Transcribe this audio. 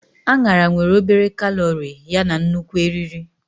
Añara nwere obere kalori yana nnukwu eriri.